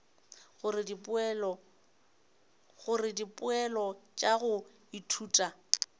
gore dipoelo tša go ithuta